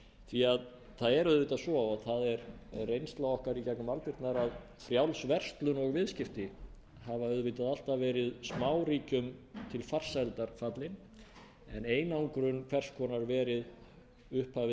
því að það er auðvitað svo og það er reynsla okkar í gegnum aldirnar að frjáls verslun og viðskipti hafa auðvitað alltaf verið smáríkjum til farsældar fallin en einangrun hvers konar verið upphafið að